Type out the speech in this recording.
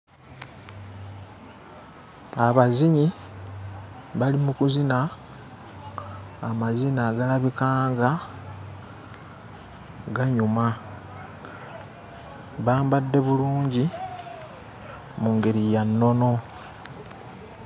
Abazinyi bali mu kuzina amazina agalabika nga ganyuma, bambadde bulungi mu ngeri ya nnono.